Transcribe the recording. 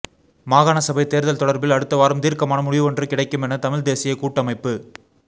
மாகாண சபை தேர்தல் தொடர்பில் அடுத்த வாரம் தீர்க்கமான முடிவொன்று கிடைக்கும் என தமிழ் தேசிய கூட்டமைப்பு